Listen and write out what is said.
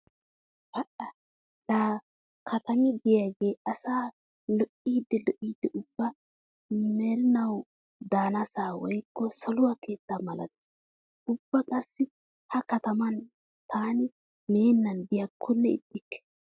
Pa"a laa katami diyagee asaa lo'iiddi lo'iiddi ubba merinawu daanasa woykko saluwa keettaa malatees. Ubba qassi he kataman taani meennan diyakkonne ixxikke.